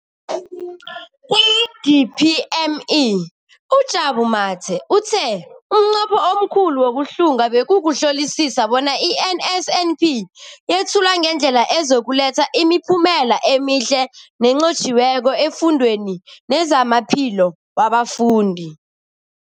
Kwa-DPME, uJabu Mathe, uthe umnqopho omkhulu wokuhlunga bekukuhlolisisa bona i-NSNP yethulwa ngendlela ezokuletha imiphumela emihle nenqotjhiweko efundweni nezamaphilo wabafundi.